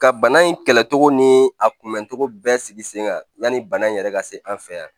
Ka bana in kɛlɛ cogo ni a kunbɛncogo bɛɛ sigi sen kan yani bana in yɛrɛ ka se an fɛ yan